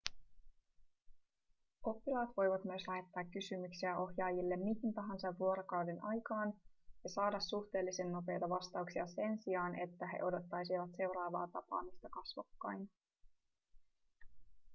oppilaat voivat myös lähettää kysymyksiä ohjaajille mihin tahansa vuorokauden aikaan ja saada suhteellisen nopeita vastauksia sen sijaan että he odottaisivat seuraavaa tapaamista kasvokkain